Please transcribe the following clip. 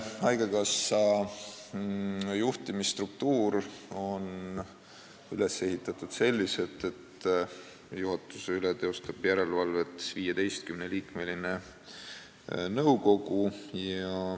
Praegune haigekassa juhtimisstruktuur on üles ehitatud selliselt, et juhatuse üle teeb järelevalvet 15-liikmeline nõukogu.